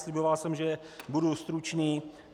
Sliboval jsem, že budu stručný.